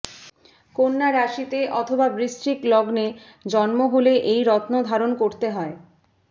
কন্যা রাশিতে অথবা বৃশ্চিক লগ্নে জন্ম হলে এই রত্ন ধারণ করতে হয়